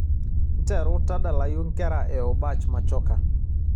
nteru tadalayu nkera e obach machoka